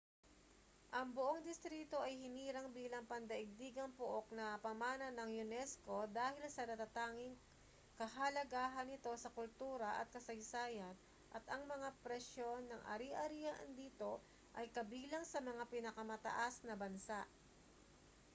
ang buong distrito ay hinirang bilang pandaigdigang pook na pamana ng unesco dahil sa natatanging kahalagahan nito sa kultura at kasaysayan at ang mga presyo ng ari-arian dito ay kabilang sa mga pinakamataas ng bansa